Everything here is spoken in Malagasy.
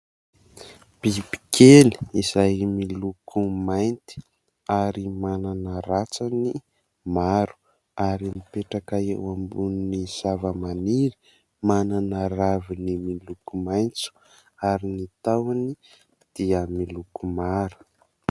Biby kely izay miloko mainty, ary manana ratsany maro ; ary mipetraka eo ambony zava-maniry, manana ravina miloko maitso ary ny tahony dia manana loko mara.